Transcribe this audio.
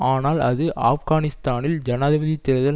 ஆனால் அது ஆப்கானிஸ்தானில் ஜனாதிபதி தேர்தல்